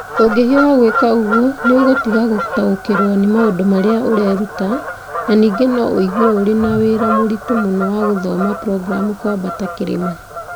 Ũngĩhiũha gwĩka ũguo, nĩ ũgũtiga gũtaũkĩrũo nĩ maũndũ marĩa ũreruta, na ningĩ no ũigue ũrĩ na wĩra mũritũ mũno wa gũthoma programu kwambata kĩrĩma